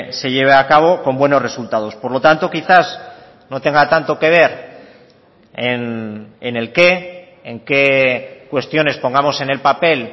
se lleve a cabo con buenos resultados por lo tanto quizás no tenga tanto que ver en el qué en qué cuestiones pongamos en el papel